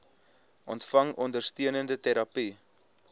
ontvang ondersteunende terapie